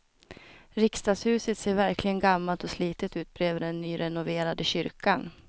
Riksdagshuset ser verkligen gammalt och slitet ut bredvid den nyrenoverade kyrkan.